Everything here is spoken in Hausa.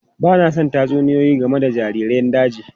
Ba na son tatsuniyoyi game da jariran daji.